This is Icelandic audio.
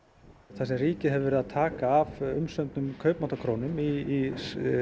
það sem ríkið hefur verið að taka af umsömdum í